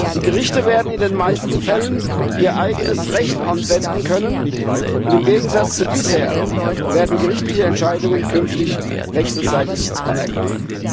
Die Gerichte werden in den meisten Fällen ihr eigenes Recht anwenden können, und im Gegensatz zu bisher werden gerichtliche Entscheidungen künftig wechselseitig anerkannt.